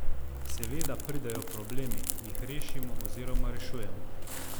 Seveda pridejo problemi, jih rešimo oziroma rešujemo.